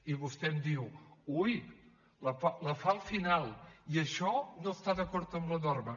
i vostè em diu ui la fa al final i això no està d’acord amb la norma